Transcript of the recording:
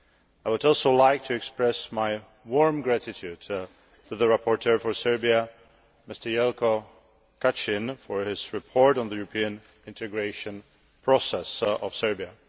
I would also like to express my warm gratitude to the rapporteur for Serbia, Jelko Kacin, for his report on the European integration process of Serbia.